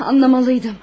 Anlamalıydım.